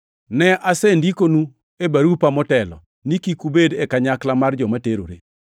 Ne asendikonu e barupa motelo ni kik ubedi e kanyakla mar joma terore.